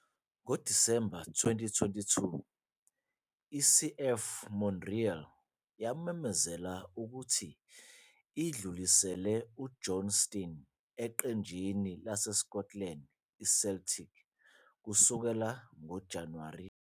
Ngo-December 2022, i-CF Montréal yamemezela ukuthi idlulisele uJohnston eqenjini laseScotland i-Celtic, kusukela ngo-January 1.